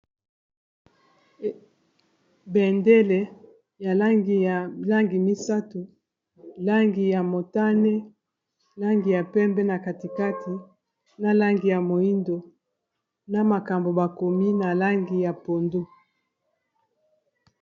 Bendele ya langi ya langi misato langi ya motane, langi ya pembe na katikati, na langi ya moyindo na makambo bakomi na langi ya pondu.